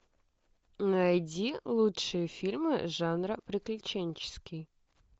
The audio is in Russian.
найти лучшие фильмы жанра приключенческий